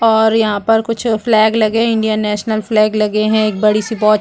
और यहाँ पर कुछ फ्लैग लगे इंडियन नेशनल फ्लैग लगे हैं एक बड़ी सी वॉच लगी हुई है।